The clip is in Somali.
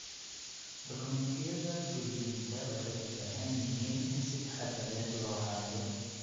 Dukumeentiyada guriyeynta waxay u baahan yihiin in si taxadar leh loo hayo.